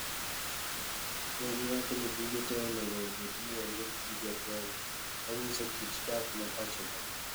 Negiwacho ni buge tee onego obed ni ondik gi joKenya. Manyiso kit dak ma pacho ka.